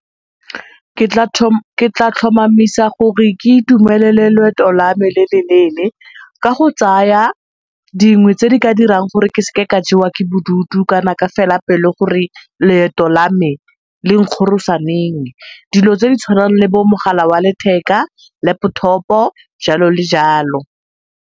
ke tla tlhomamisa gore ke itumelele loeto la me le le leele ka go tsaya dingwe tse di ka dirang gore ke seke ka jewa ke bodutu kana ka fela pelo gore loeto la me le nkgorosa neng. Dilo tse di tshwanang le bo mogala wa letheka, laptop-o, jalo le jalo.